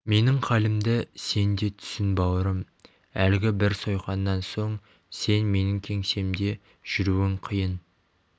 менің халімді сен де түсін бауырым әлгі бір сойқаннан соң сен менің кеңсемде жүруің қиын